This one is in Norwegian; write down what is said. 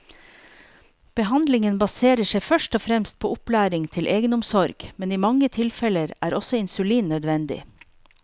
Behandlingen baserer seg først og fremst på opplæring til egenomsorg, men i mange tilfeller er også insulin nødvendig.